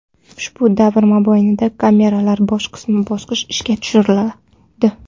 Ushbu davr mobaynida kameralar bosqichma-bosqich ishga tushiriladi.